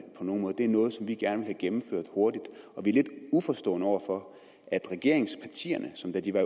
på nogen måde det er noget som vi gerne vil have gennemført hurtigt vi er lidt uforstående over for at regeringspartierne som da de var